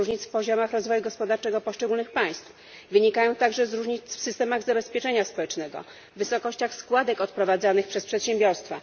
z różnic w poziomach rozwoju gospodarczego poszczególnych państw, wynikają także z różnic w systemach zabezpieczenia społecznego, wysokościach składek odprowadzanych przez przedsiębiorstwa.